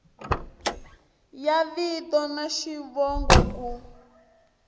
ya vito na xivongo ku